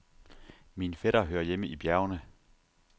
Min fætter hører hjemme i bjergene.